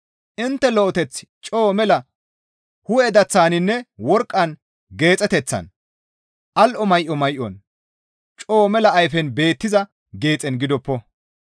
Intte lo7eteththi coo mela hu7e daththaninne worqqan geexeteththan, al7o may7o may7on, coo mela ayfen beettiza geexen gidoppo.